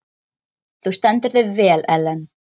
Þú stendur þig vel, Ellen!